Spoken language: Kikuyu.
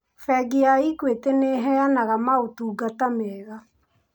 Bengi ya Equity nĩ ĩyenaga maũtungata mega.